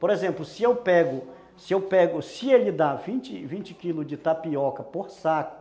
Por exemplo, se eu pego, se eu pego, se ele dá vinte, vinte quilos de tapioca por saco,